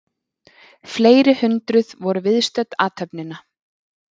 Fleiri hundruð voru viðstödd athöfnina